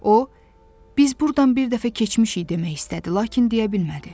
O, biz burdan bir dəfə keçmişik demək istədi, lakin deyə bilmədi.